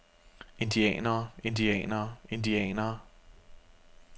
indianere indianere indianere